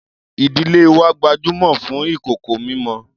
Ìdílé wa gbajúmọ̀ fún ìkòkò mímọ.